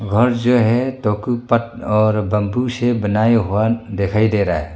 घर जो है तोकु पत और बंबू से बनाए हुआ दिखाई दे रा है।